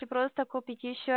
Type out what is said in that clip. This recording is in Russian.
и просто купите ещё